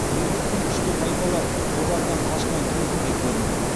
меркіттің күшті тайпалар одағынан қашқан кезінде көрінді